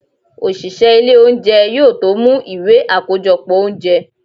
osìsé ilé oúnjẹ, yóò tó mú ìwé akojọpọ oúnjẹ.